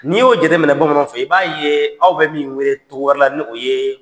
N'i y'o jate minɛ bamananw fɛ yen i b'a ye aw bɛ min wele cogoya wƐrɛ n'o ye,